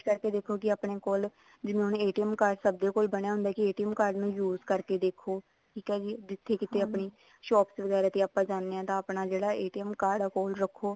ਦੇਖੋ ਕੀ ਆਪਣੇ ਕੋਲ card ਸਭ ਦੇ ਕੋਲ ਬਣਿਆ ਹੁੰਦਾ ਕੀ card ਨੂੰ use ਕਰਕੇ ਦੇਖੋ ਠੀਕ ਆ ਜੀ ਜਿੱਥੇ ਕਿਤੇ ਆਪਣੀ shops ਵਗੈਰਾ ਤੇ ਆਪਾਂ ਜਾਣੇ ਹਾਂ ਤਾਂ ਆਪਣਾ ਜਿਹੜਾ card ਆ ਕੋਲ ਰੱਖੋ